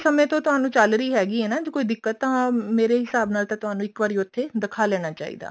ਸਮੇ ਤੋਂ ਤੁਹਾਨੂੰ ਚੱਲ ਰਹੀ ਹੈਗੀ ਆ ਨਾ ਫੇਰ ਤਾਂ ਮੇਰੇ ਹਿਸਾਬ ਨਾਲ ਤਾਂ ਤੁਹਾਨੂੰ ਇੱਕ ਵਾਰੀ ਉੱਥੇ ਦਿਖਾ ਲੈਣਾ ਚਾਹੀਦਾ